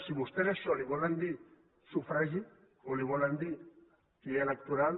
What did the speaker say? si vostès a això li volen dir sufragi o li volen dir llei electoral